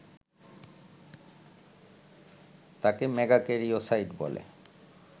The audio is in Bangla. তাকে মেগাক্যারিওসাইট বলে